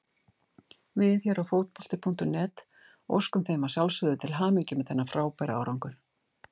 Við hér á Fótbolti.net óskum þeim að sjálfsögðu til hamingju með þennan frábæra árangur.